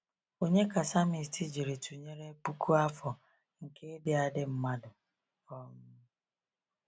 Ònye ka psalmist jiri tụnyere puku afọ nke ịdị adị mmadụ? um